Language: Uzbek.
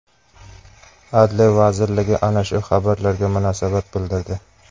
Adliya vazirligi ana shu xabarlarga munosabat bildirdi .